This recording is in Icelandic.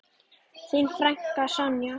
Þín frænka, Sonja.